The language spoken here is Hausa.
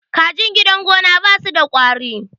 kajin gidan gona ba su da kwari